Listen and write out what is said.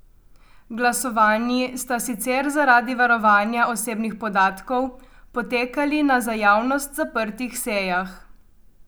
Glasovanji sta sicer zaradi varovanja osebnih podatkov potekali na za javnost zaprtih sejah.